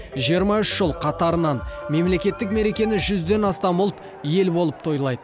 жиырма үш жыл қатарынан мемлекеттік мерекені жүзден астам ұлт ел болып тойлайды